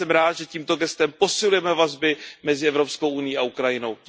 Já jsem rád, že tímto gestem posilujeme vazby mezi Evropskou unií a Ukrajinou.